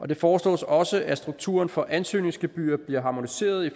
det foreslås også at strukturen for ansøgningsgebyrer bliver harmoniseret i